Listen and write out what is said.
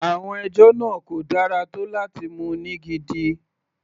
Àwọn ẹjọ́ náà kò dára tó láti mú ní gidi.